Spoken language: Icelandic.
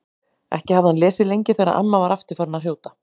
Ekki hafði hann lesið lengi þegar amma var aftur farin að hrjóta.